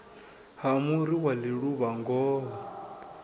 ha muri wa ḽiluvha ngoho